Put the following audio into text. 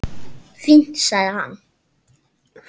Fínt- sagði hann.